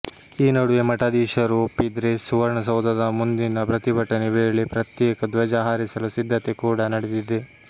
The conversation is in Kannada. ಈ ನಡುವೆ ಮಠಾಧೀಶರು ಒಪ್ಪಿದ್ರೆ ಸುವರ್ಣ ಸೌಧದ ಮುಂದಿನ ಪ್ರತಿಭಟನೆ ವೇಳೆ ಪ್ರತ್ಯೇಕ ಧ್ವಜ ಹಾರಿಸಲು ಸಿದ್ಧತೆ ಕೂಡಾ ನಡೆದಿದೆ